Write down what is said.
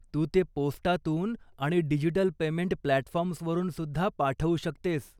तू ते पोस्टातून आणि डिजिटल पेमेंट प्लॅटफॉर्म्सवरून सुद्धा पाठवू शकतेस.